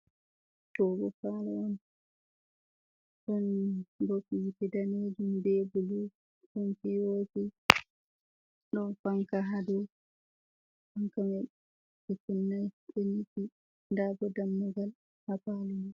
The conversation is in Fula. Ɗo bo palo on, ɗon bop yiite daneejum be bulu, ɗon P.O.P, ɗon fanka ha dou. Fanka mai ɓe kunnai, ɗo nyiifi. Nda bo dammugal ha palo mai.